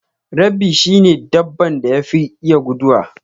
Rabbi shi ne dabban da yafi iya guduwa.